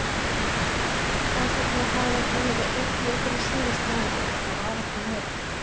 Ætli það hafi ekki verið einn leikur á síðasta ári, það var ekki meira.